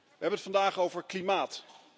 We hebben het vandaag over klimaat.